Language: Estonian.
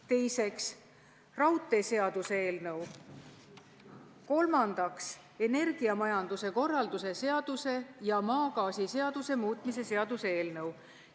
Teiseks, raudteeseaduse eelnõu ja kolmandaks, energiamajanduse korralduse seaduse ja maagaasiseaduse muutmise seaduse eelnõu.